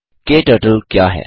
क्टर्टल क्या है